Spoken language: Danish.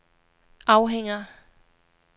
afhænger